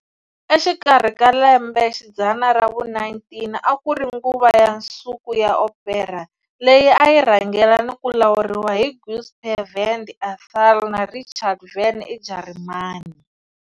Exikarhi ka lembe xidzana ra vu-19 a ku ri nguva ya nsuku ya opera, leyi a yi rhangela ni ku lawuriwa hi Giuseppe Verdi eItaly na Richard Wagner eJarimani.